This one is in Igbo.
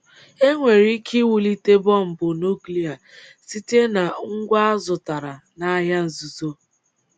E nwere ike iwulite bọmbụ nụ́klịa site na ngwa a zụtara n’ahịa nzuzo.